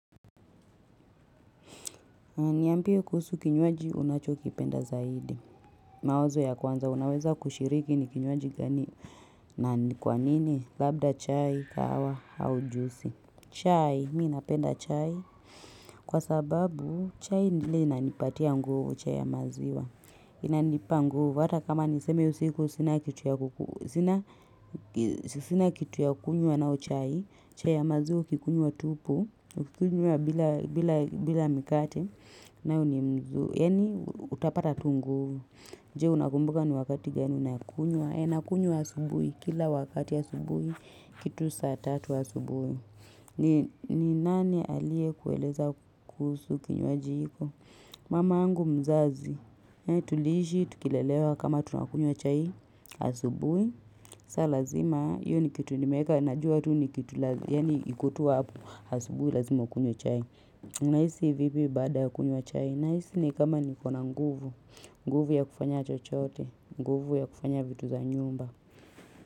Niambie kusuhu kinyuaji unacho kipenda zaidi. Mawazo ya kwanza unaweza kushiriki ni kinywaji gani. Nani kwanini? Labda chai, kawa, au juicy. Chai, mi inapenda chai. Kwa sababu chai ndile inanipatia nguvu, chai ya maziwa. Inanipa nguvu hata kama niseme usiku sina kitu ya kuku sina kitu ya kukunyua nao chai. Chai ya maziwa ukikunywa tupu, ukikunyua bila mikate. Nayo ni mu, yani utapata tu nguvu Je unakumbuka ni wakati gani unakunywa, ee nakunyua asubuhi, kila wakati asubuhi kitu saa tatu asubuhi, ni nani aliyekueleza kusu kinywaji hiko Mama yangu mzazi Tuliishi tukilelewa kama tunakunyua chai asubui sa lazima, yu ni kitu nimeka Najua tu ni kitu lazima ya ni ikutuwa apo asubuhi lazima ukunywe chai na hisi vipi bada kuni wa chai na hisi ni kama niko na nguvu nguvu ya kufanya chochote, nguvu ya kufanya vitu za nyumba.